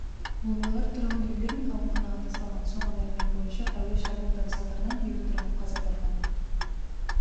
бомбалар тұрғын үйлер мен ауруханаға тасталған соңғы мәлімет бойынша әуе шабуылдары салдарынан бейбіт тұрғын қаза тапқан